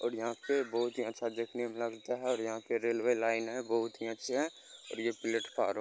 और यहाँ पे बहुत ही अच्छा देखने में लगता है और यहाँ पे रेलवे लाइन है बहुत ही अच्छे है और ये प्लेटफार्म --